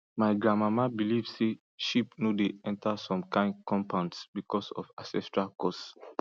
my grandmama believe say sheep no dey enter some kin compounds because of ancestral curse